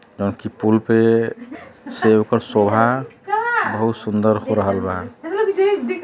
जउन की पूल पे बहुत सुन्दर हो रहल बा।